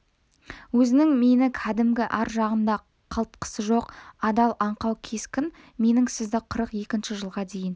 өзіңіз мені кәдімгі ар жағында қалтқысы жоқ адал аңқау кескін менің сізді қырық екінші жылға дейін